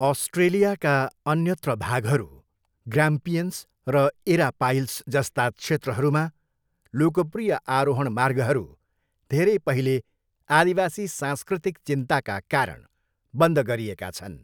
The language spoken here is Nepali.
अस्ट्रेलियाका अन्यत्र भागहरू, ग्राम्पियन्स र एरापाइल्स जस्ता क्षेत्रहरूमा लोकप्रिय आरोहण मार्गहरू धेरै पहिले आदिवासी सांस्कृतिक चिन्ताका कारण बन्द गरिएका छन्।